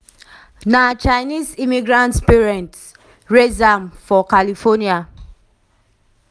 na chinese immigrant parents raise am um for california.